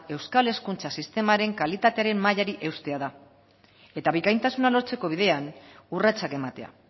euskal hezkuntza sistemaren kalitatearen mailari eustea da eta bikaintasuna lortzeko bidean urratsak ematea